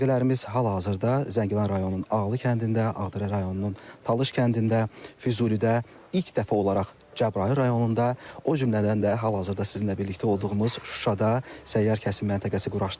Məntəqələrimiz hal-hazırda Zəngilan rayonunun Ağlı kəndində, Ağdərə rayonunun Talış kəndində, Füzulidə ilk dəfə olaraq Cəbrayıl rayonunda, o cümlədən də hal-hazırda sizinlə birlikdə olduğumuz Şuşada səyyar kəsim məntəqəsi quraşdırılıb.